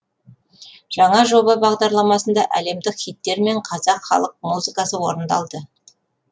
жаңа жоба бағдарламасында әлемдік хиттер мен қазақ халық музыкасы орындалды